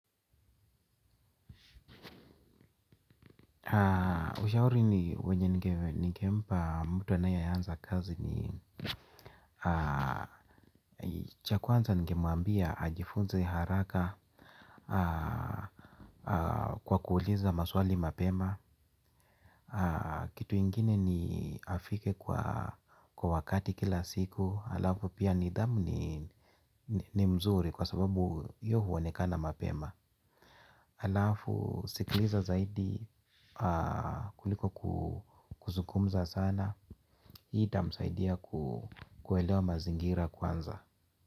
Ushauri ni wenye ningempa mtu anayeanza kazi ni cha kwanza ningemwambia ajifunze haraka. Kwa kuuliza maswali mapema. Kitu ingine ni afike kwa wakati kila siku alafu pia nidhamu ni mzuri kwa sababu hiyo huonekana mapema. Alafu sikiliza zaidi kuliko kuzungumza sana. Hii itamsaidia kuelewa mazingira kwanza.